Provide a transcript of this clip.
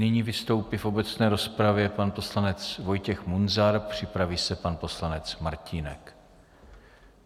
Nyní vystoupí v obecné rozpravě pan poslanec Vojtěch Munzar, připraví se pan poslanec Martínek.